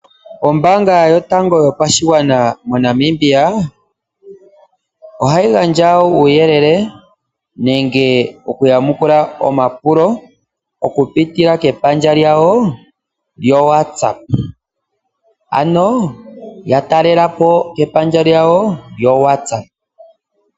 Ombaanga yotango yopashigwana mo Namibia, ohayi gandja uuyelele nenge oku yamukula omapulo, okupitila kepandja lyawo lyo WhatsApp. Ano ya talela po kepandja lyawo lyo WhatsApp.